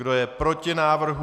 Kdo je proti návrhu?